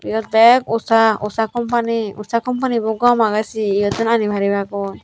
eyod bek usha usha company usha companybo gom aage se yottun aani paribagoi.